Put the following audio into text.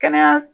Kɛnɛya